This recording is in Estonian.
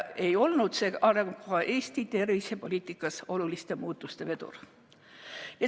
See arengukava ei olnud Eesti tervisepoliitikas oluliste muutuste vedur.